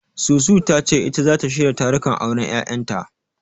Susu ta ce ita zata shirya tarukan auren Yayanta.